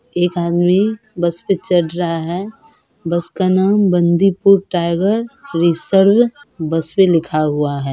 एक आदमी बस पे चढ़ रहा है बस का नाम बंदीपुर टाइगर रिज़र्व बसवे लिखा हुआ है।